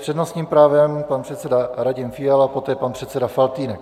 S přednostním právem pan předseda Radim Fiala, poté pan předseda Faltýnek.